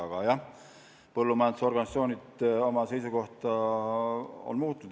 Aga jah, põllumajandusoriganisatsioonid on oma seisukohta muutnud.